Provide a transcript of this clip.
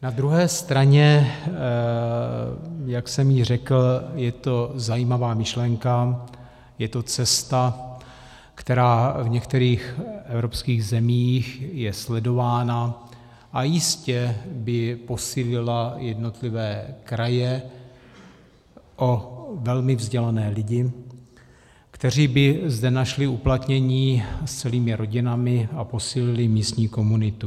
Na druhé straně, jak jsem již řekl, je to zajímavá myšlenka, je to cesta, která v některých evropských zemích je sledována a jistě by posílila jednotlivé kraje o velmi vzdělané lidi, kteří by zde našli uplatnění s celými rodinami a posílili místní komunitu.